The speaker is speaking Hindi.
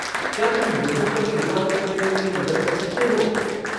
क्या तुम योनो पर शुरुआत करने में मेरी मदद कर सकते हो?